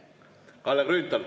Kalle Grünthal.